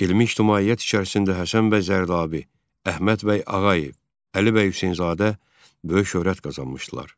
Elmi ictimaiyyət içərisində Həsən bəy Zərdabi, Əhməd bəy Ağayev, Əli bəy Hüseynzadə böyük şöhrət qazanmışdılar.